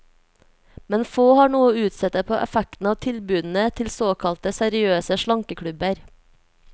Men få har noe å utsette på effekten av tilbudene til såkalte seriøse slankeklubber.